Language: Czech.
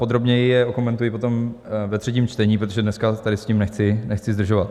Podrobněji je okomentuji potom ve třetím čtení, protože dneska tady s tím nechci zdržovat.